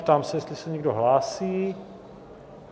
Ptám se, jestli se někdo hlásí?